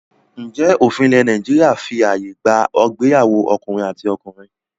Ǹjẹ́ òfin ilẹ̀ Nàìjíríà fí ààyè gba ìgbéyàwó ọkùnrin àti ọkùnrin?